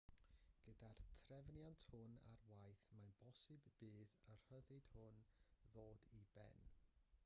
gyda'r trefniant hwn ar waith mae'n bosibl bydd y rhyddid hwn ddod i ben